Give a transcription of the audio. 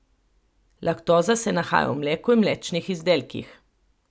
Laktoza se nahaja v mleku in mlečnih izdelkih.